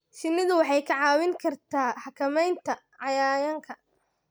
Shinnidu waxay kaa caawin kartaa xakamaynta cayayaanka.